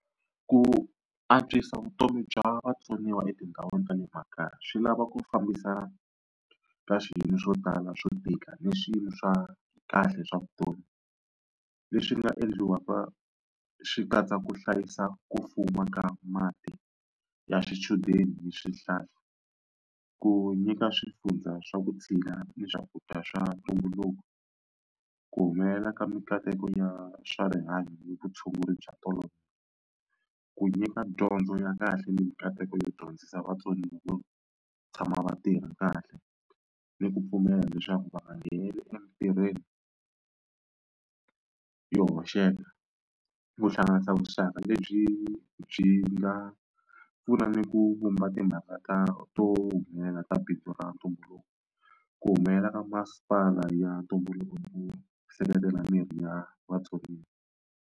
Ku antswisa vutomi bya vatsoniwa etindhawini ta le makaya swi lava ku fambisa ka swiyimo swo tala swo tika ni swiyimo swa kahle swa vutomi. Leswi nga endliwaka swi katsa ku hlayisa ku fuma ka mati ya swichudeni hi swihlahla, ku nyika swifundza swa vutshila ni swakudya swa ntumbuluko, ku humelela ka mikateko ya swa rihanyo hi vutshunguri bya tolovela, ku nyika dyondzo ya kahle ni mikateko yo dyondzisa vatsoniwa vo tshama va tirha kahle, ni ku pfumela leswaku va nga ngheneleli emitirhweni yo hoxeka, ku hlanganisa vuxaka lebyi byi nga pfuna ni ku vumba timhaka ta to humelela ra bindzu ra ntumbuluko, ku humelela ka masipala ya ntumbuluko seketela mirhi ya vatsoniwa.